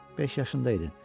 Beş yaşında idin.